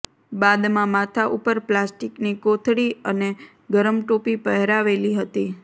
બાદમાં માથાં ઉપર પ્લાસ્ટિકની કોથળી અને ગરમ ટોપી પહેરાવેલી હતી